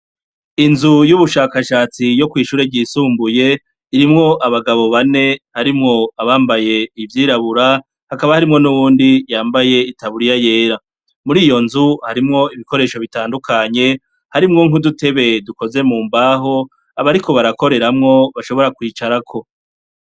Inzu y' ubushakashatsi yo kw'ishure yishumbuye, irimwo abagabo bane harimwo abambaye iryirabura, hakaba harimwo n' uwundi yambaye itaburiya yera. Muri iyo nzu, harimwo ibikoresho bitandukanye, harimwo nk'udutebe dukoze mu mbaho, abariko barakorerayo bashobora kwicarako.